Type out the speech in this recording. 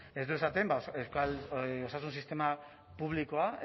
ez du esaten osasun sistema publikoa